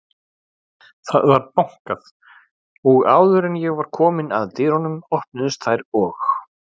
Það var bankað og áður en ég var komin að dyrunum, opnuðust þær og